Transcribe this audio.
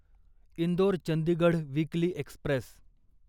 Indore Chandigarh weekly Express